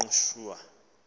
ingqushwa